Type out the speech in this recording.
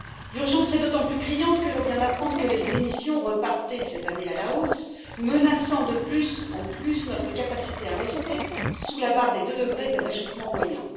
L'urgence est d'autant plus criante que l'on vient d'apprendre que les émissions repartaient cette année à la hausse, menaçant de plus en plus notre capacité à rester sous la barre des deux degrés de réchauffement moyen.